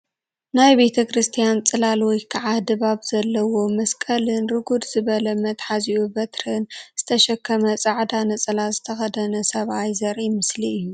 ናይ ቤተ ክርስትያን ፅላል ወይ ከዓ ድባብ ዘለዎ መስቀልን ርጉድ ዝበለ መትሐዚኡ በትርን ዝተሰከመ ፃዕዳ ነፀላ ዝተኸደነ ሰብኣይ ዘርኢ ምስሊ እዩ